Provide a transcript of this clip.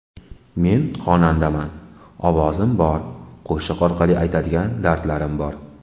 Men xonandaman: ovozim bor, qo‘shiq orqali aytadigan dardlarim bor.